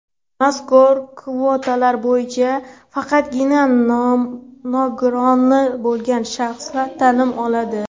Mazkur kvotalar bo‘yicha faqatgina nogironligi bo‘lgan shaxslar ta’lim oladi.